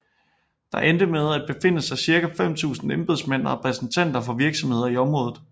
Der endte med at befinde sig ca 5000 embedsmænd og repræsentanter for virksomheder i området